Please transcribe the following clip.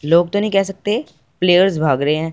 लोग तो नहीं कह सकते प्लेयर्स भाग रहे हैं।